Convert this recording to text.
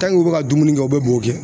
u bɛ ka dumuni kɛ u bɛ bo kɛ.